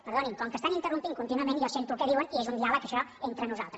perdonin com que estan interrompent contínuament jo sento el que diuen i és un diàleg això entre nosaltres